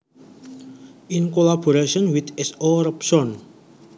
In collaboration with S O Robson